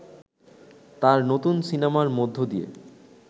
তার নতুন সিনেমার মধ্য দিয়ে